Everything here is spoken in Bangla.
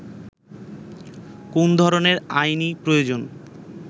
কোন ধরনের আইনী প্রয়োজন